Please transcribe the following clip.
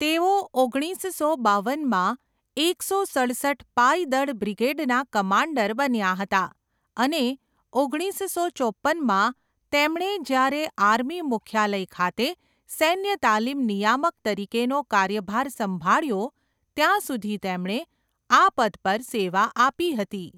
તેઓ ઓગણીસસો બાવનમાં એકસો સડસઠ પાયદળ બ્રિગેડના કમાન્ડર બન્યા હતા અને ઓગણીસસો ચોપ્પનમાં તેમણે જ્યારે આર્મી મુખ્યાલય ખાતે સૈન્ય તાલીમ નિયામક તરીકેનો કાર્યભાર સંભાળ્યો ત્યાં સુધી તેમણે આ પદ પર સેવા આપી હતી.